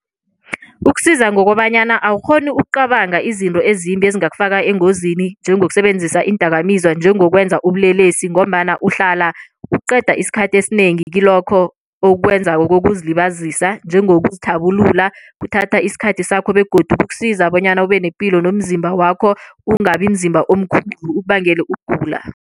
Kuksiza ngokobanyana awukghoni ukucabanga izinto ezimbi ezingakufaka engozini njengokusebenzisa iindakamizwa, njengokwenza ubulelesi ngombana uhlala uqeda isikhathi esinengi kilokho okwenzako kokuzilibazisa njengokuzithabulula kuthatha isikhathi sakho begodu kuksiza bonyana ubenepilo nomzimba wakho ungabi mzimba omkhulu ukubangele ukugula.